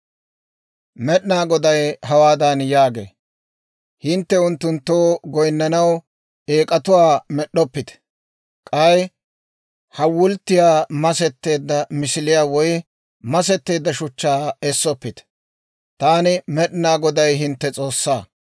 Med'inaa Goday hawaadan yaagee; «Hintte unttunttoo goynnanaw eek'atuwaa med'd'oppite; k'ay hawulttiyaa, masetteedda misiliyaa woy masetteedda shuchchaa essoppite. Taani, Med'inaa Goday, hintte S'oossaa.